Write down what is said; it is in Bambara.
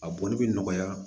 A boli bɛ nɔgɔya